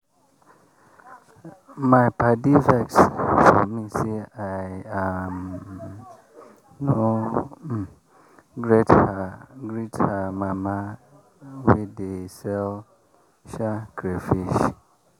my padi vex for me say i um no um greet her mama wey dey sell um crayfish.